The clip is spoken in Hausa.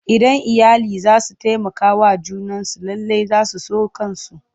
Idan iyali za su taimakawa junansu lallai za su so kansu.